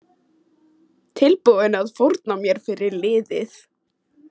Tilbúinn að fórna mér fyrir liðið